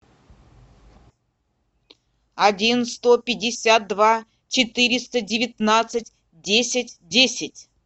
один сто пятьдесят два четыреста девятнадцать десять десять